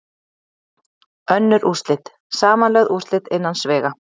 Önnur úrslit, Samanlögð úrslit innan sviga.